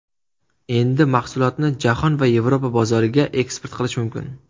Endi mahsulotni jahon va Yevropa bozoriga eksport qilish mumkin.